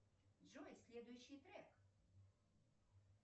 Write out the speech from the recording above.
джой следующий трек